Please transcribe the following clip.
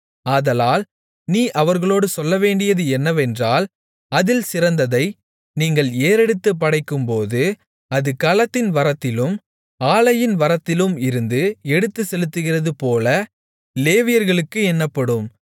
ஆதலால் நீ அவர்களோடு சொல்லவேண்டியது என்னவென்றால் அதில் சிறந்ததை நீங்கள் ஏறெடுத்துப் படைக்கும்போது அது களத்தின் வரத்திலும் ஆலையின் வரத்திலும் இருந்து எடுத்துச்செலுத்துகிறதுபோல லேவியர்களுக்கு எண்ணப்படும்